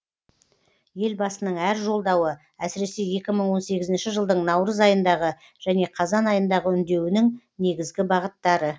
елбасының әр жолдауы әсіресе екі мың он сегізінші жылдың наурыз айындағы және қазан айындағы үндеуінің негізгі бағыттары